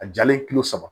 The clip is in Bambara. A jalen kulo saba